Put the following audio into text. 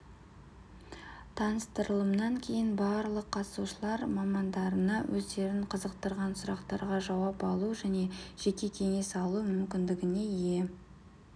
таныстырылымнан кейін барлық қатысушылар мамандарына өздерін қызықтырған сұрақтарға жауап алу және жеке кеңес алу мүмкіндігіне ие